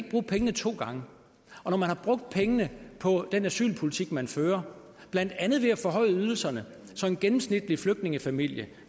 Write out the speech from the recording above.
bruge pengene to gange og når man har brugt pengene på den asylpolitik man fører blandt andet ved at forhøje ydelserne så en gennemsnitlig flygtningefamilie